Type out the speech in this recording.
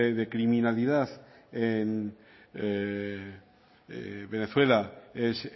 de criminalidad en venezuela es